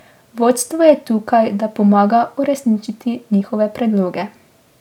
Vodstvo je tukaj, da pomaga uresničiti njihove predloge.